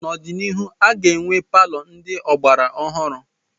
N'obianihu, a ga-enwe palọ ndị ọgbara ọhụrụ.